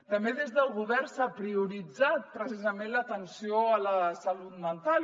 també des del govern s’ha prioritzat precisament l’atenció a la salut mental